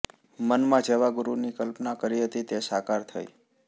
મનમાં જેવા ગુરૂની કલ્પના કરી હતી તે સાકાર થઈ